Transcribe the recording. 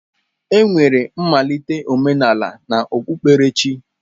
Enwere mmalite omenala na okpukperechi.